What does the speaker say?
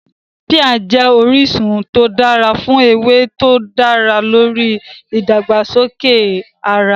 Píà jẹ́ orísun tó dára fún ewé tó dá lórí ìdàgbàsókè ara